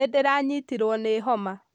Nĩndĩranyitirwo ni homa.